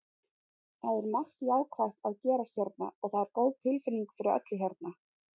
Það er margt jákvætt að gerast hérna og það er góð tilfinning fyrir öllu hérna.